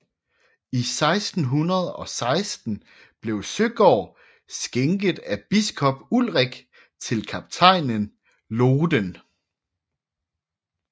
I 1616 blev Søgaard skænket af biskop Ulrik til kaptajnen Lohden